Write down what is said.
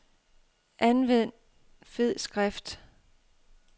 Anvend fed skrift.